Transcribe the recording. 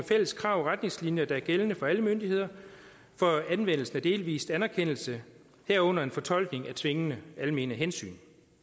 fælles krav og retningslinjer der er gældende for alle myndigheder for anvendelsen af delvis anerkendelse herunder en fortolkning af tvingende almene hensyn